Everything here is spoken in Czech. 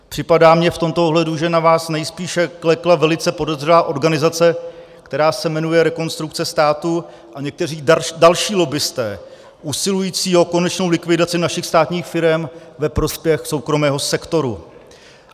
Připadá mně v tomto ohledu, že na vás nejspíše klekla velice podezřelá organizace, která se jmenuje Rekonstrukce státu, a někteří další lobbisté usilující o konečnou likvidaci našich státních firem ve prospěch soukromého sektoru.